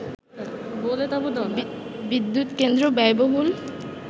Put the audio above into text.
বিদ্যুৎ কেন্দ্র ব্যয়বহুল